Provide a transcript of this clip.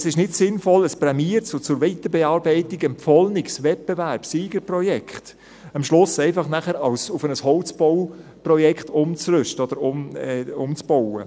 Es ist nicht sinnvoll, ein prämiertes und zur Weiterbearbeitung empfohlenes Wettbewerbssiegerprojekt am Schluss nachher einfach auf ein Holzbauprojekt umzurüsten oder umzubauen.